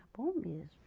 Era bom mesmo.